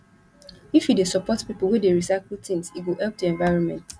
if you dey support pipo wey dey recycle tins e go help di environment